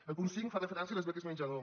el punt cinc fa referència a les beques menjador